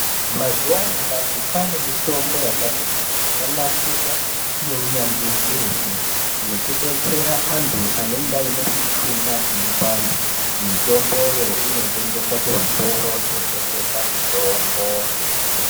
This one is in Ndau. Mazuwanyamashi kwaane mitombo yakati kuti yakanasirwa ngeunyanzvi ukurukutu yekudetsera anthu anenge aine mishuna inopanda. Mitomboyo inotengeswa kuzvitoro zvinotengese mitombo.